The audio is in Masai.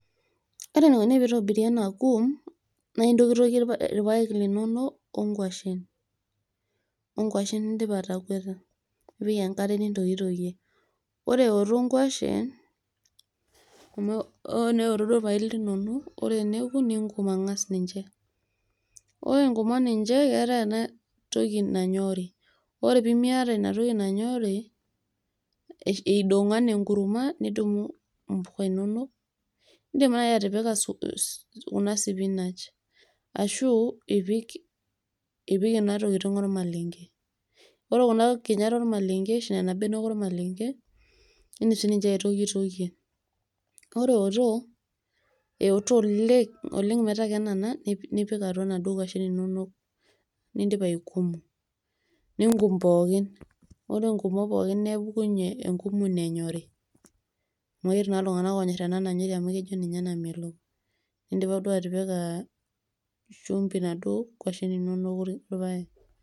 Ore enikoni pee itobiri ena kum nae intokitokie irpaek linonok o ng'washen, o ng'washen nindipa atagweta, nipik enkare nintokitokie. Ore eoto ng'washen, amu o neoto duo irpaek linonok ore eneoku ninkum ang'as ninje. Ore inkumo ninje, keetai enatoki nanyori ore pee miata enatoki nanyori idong'o enaa enkurma nidumu impuka inonok indim nai atipika kuna sipinach, ashu ipik ena tokitin ormalenge. Ore kuna kinyat ormalenge ashu nena benek ormalenge nindim sininye aitokitokie, ore eoto oleng' metaa kenana nipik atua naduo kwashen inonok nindipa aikumo ninkum pookin. Ore inkumo pookin nepuku enkum ino enyori amu etii naa iltung'anak onyor ena nanyori amu eji ninye namelok nindipa duo atipika shumbi naduo kwashen inonok orpaek.